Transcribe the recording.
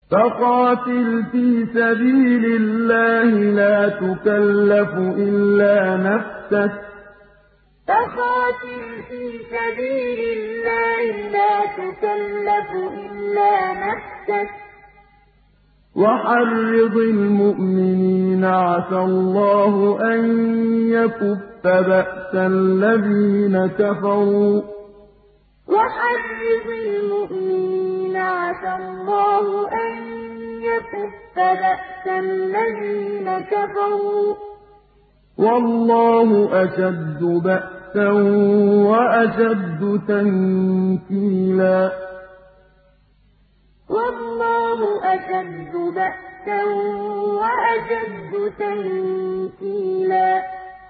فَقَاتِلْ فِي سَبِيلِ اللَّهِ لَا تُكَلَّفُ إِلَّا نَفْسَكَ ۚ وَحَرِّضِ الْمُؤْمِنِينَ ۖ عَسَى اللَّهُ أَن يَكُفَّ بَأْسَ الَّذِينَ كَفَرُوا ۚ وَاللَّهُ أَشَدُّ بَأْسًا وَأَشَدُّ تَنكِيلًا فَقَاتِلْ فِي سَبِيلِ اللَّهِ لَا تُكَلَّفُ إِلَّا نَفْسَكَ ۚ وَحَرِّضِ الْمُؤْمِنِينَ ۖ عَسَى اللَّهُ أَن يَكُفَّ بَأْسَ الَّذِينَ كَفَرُوا ۚ وَاللَّهُ أَشَدُّ بَأْسًا وَأَشَدُّ تَنكِيلًا